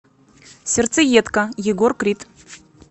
сердцеедка егор крид